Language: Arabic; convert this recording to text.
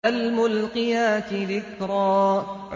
فَالْمُلْقِيَاتِ ذِكْرًا